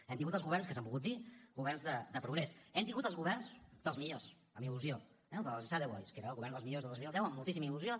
hem tingut els governs que s’han volgut dir governs de progrés hem tingut els governs dels millors amb il·lusió eh els dels esade boys que era el govern dels millors de dos mil deu amb moltíssima il·lusió